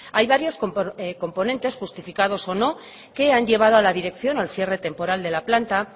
hay varios componentes justificados o no que han llevado a la dirección al cierre temporal de la planta